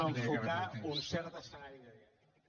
a enfocar un cert escenari de diàleg